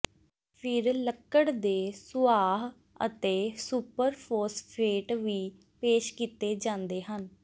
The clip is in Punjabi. ਫਿਰ ਲੱਕੜ ਦੇ ਸੁਆਹ ਅਤੇ ਸੁਪਰਫੋਸਫੇਟ ਵੀ ਪੇਸ਼ ਕੀਤੇ ਜਾਂਦੇ ਹਨ